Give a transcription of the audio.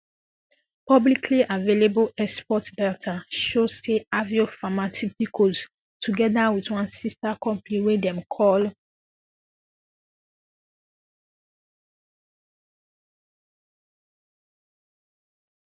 publicly available export data show say aveo pharmaceuticals togeda wit one sister company wey dem call